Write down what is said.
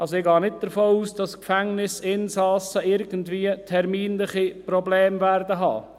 Ich gehe nicht davon aus, dass Gefängnisinsassen irgendwie terminliche Probleme haben werden.